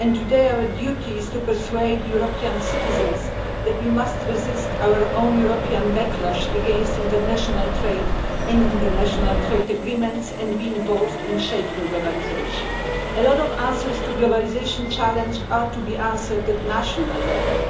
Today our duty is to persuade European citizens that we must resist our own European backlash against international trade and international trade agreements and be involved in shaping globalisation. A lot of answers to the globalisation challenge are to be given at national level.